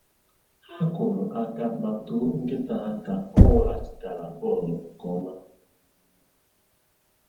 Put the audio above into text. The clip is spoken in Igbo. Ha kụrụ aka ma too nkịta ha ka o weghachitara bọọlụ nke ọma.